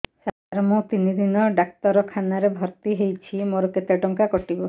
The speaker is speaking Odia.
ସାର ମୁ ତିନି ଦିନ ଡାକ୍ତରଖାନା ରେ ଭର୍ତି ହେଇଛି ମୋର କେତେ ଟଙ୍କା କଟିବ